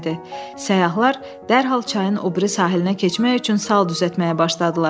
Səyyahlar dərhal çayın o biri sahilə keçmək üçün sal düzəltməyə başladılar.